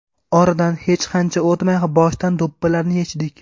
Oradan hech qancha o‘tmay boshdan do‘ppilarni yechdik.